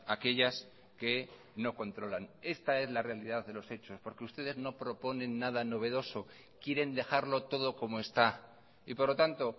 aquellas que no controlan esta es la realidad de los hechos porque ustedes no proponen nada novedosos quieren dejarlo todo como está y por lo tanto